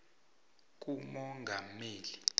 kumongameli